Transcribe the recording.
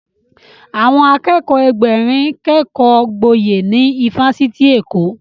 Àwọn Akẹ́kọ̀ọ́ Ẹgbẹ̀rin kékọ gboyè ní ifásitì Èkó